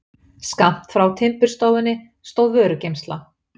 Skammt frá timburstofunni stóð vörugeymsla.